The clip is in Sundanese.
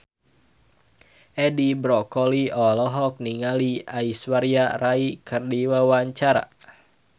Edi Brokoli olohok ningali Aishwarya Rai keur diwawancara